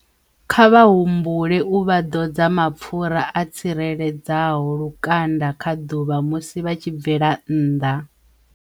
Kha vha humbule u vha ḓodza mapfura a tsireledzaho lukanda kha ḓuvha musi vha tshi bvela nnḓa.